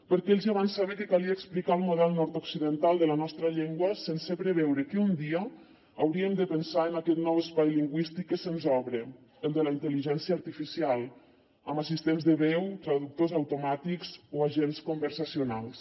perquè ells ja van saber que calia explicar el model nord occidental de la nostra llengua sense preveure que un dia hauríem de pensar en aquest nou espai lingüístic que se’ns obre el de la intel·ligència artificial amb assistents de veu traductors automàtics o agents conversacionals